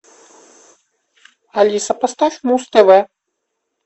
алиса поставь муз тв